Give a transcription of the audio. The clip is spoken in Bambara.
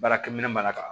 Baarakɛ minɛ mana ta